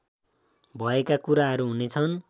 भएका कुराहरू हुनेछन्